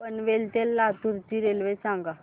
पनवेल ते लातूर ची रेल्वे सांगा